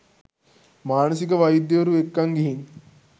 මානසික වෛද්‍යවරු එක්කන් ගිහින්